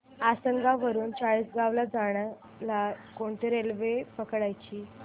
आसनगाव वरून चाळीसगाव ला जायला कोणती रेल्वे पकडायची